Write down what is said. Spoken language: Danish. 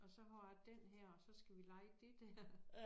Og så har jeg den her og så skal vi lege det dér